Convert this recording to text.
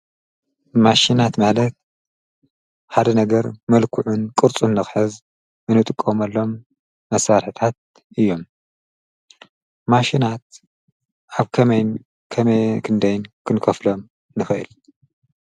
ማሽናት ማለት ሓደ ነገር መልክዑን ቅርፁን ንክሕዝ እንጥቀመሎም መሳሒሪታት እዮም። ማሽናት ኣብ ከመይን ክንደይን ክንከፍሎም ንኽእል?